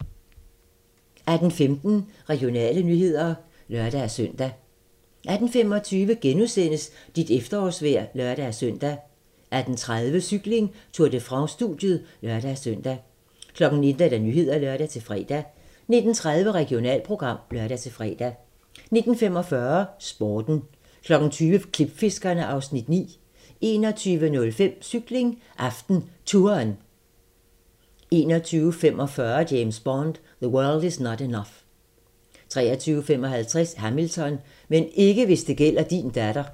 18:15: Regionale nyheder (lør-søn) 18:25: Dit efterårsvejr *(lør-søn) 18:30: Cykling: Tour de France - studiet (lør-søn) 19:00: Nyhederne (lør-fre) 19:30: Regionalprogram (lør-fre) 19:45: Sporten 20:00: Klipfiskerne (Afs. 9) 21:05: Cykling: AftenTouren 21:45: James Bond: The World Is Not Enough 23:55: Hamilton: Men ikke hvis det gælder din datter